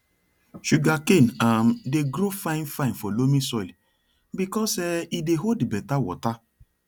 sugarcane um dey grow fine fine for loamy soil because um e dey hold better water